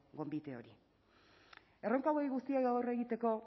gonbite hori erronka hauei guztiei aurre egiteko